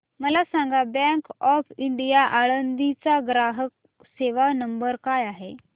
मला सांगा Bank of India Alandi चा ग्राहक सेवा नंबर काय आहे